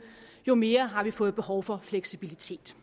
jo mere har vi fået behov for fleksibilitet